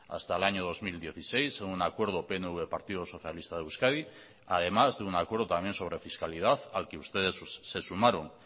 hasta el año dos mil dieciséis un acuerdo pnv partido socialista de euskadi además de un acuerdo también sobre fiscalidad al que ustedes se sumaron